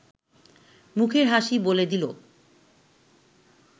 মুখের হাসি বলে দিল